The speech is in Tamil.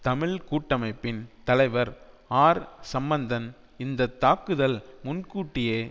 தமிழ் கூட்டமைப்பின் தலைவர் ஆர் சம்பந்தன் இந்த தாக்குதல் முன்கூட்டியே